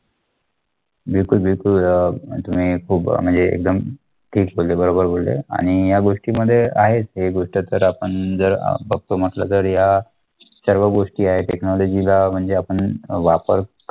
बिलकुल बिलकुल अं तुम्ही खूप म्हणजे एकदम ठीक बोलले, बरोबर बोलले आणि या गोष्टीमध्ये आहेत हे गोष्ट तर आपण जर अं बघतो म्हंटलं तरी या सर्व गोष्टी आहेत technology ला म्हणजे आपण वापर